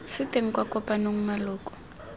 se teng kwa kopanong maloko